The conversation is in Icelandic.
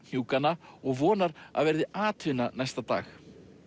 hnjúkana og vonar að verði atvinna næsta dag